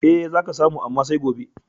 E, za ka samu, amma sai gobe.